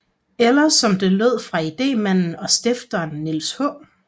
Eller som det lød fra idémanden og stifteren Niels H